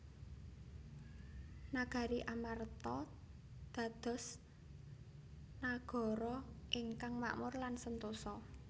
Nagari Amarta dados nagara ingkang makmur lan sentosa